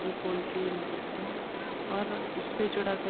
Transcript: फेविकोल की मदद से और उससे जुड़ा कर --